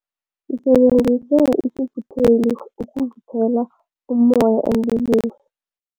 Sisebenzise isivutheli ukuvuthela ummoya emlilweni.